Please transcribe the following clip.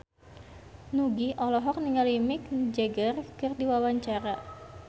Nugie olohok ningali Mick Jagger keur diwawancara